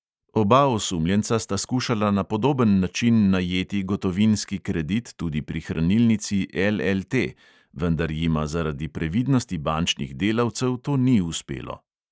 Oba osumljenca sta skušala na podoben način najeti gotovinski kredit tudi pri hranilnici LLT, vendar jima zaradi previdnosti bančnih delavcev to ni uspelo.